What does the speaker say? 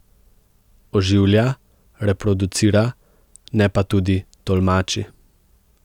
Oživlja, reproducira, ne pa tudi tolmači.